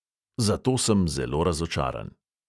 Zato sem zelo razočaran.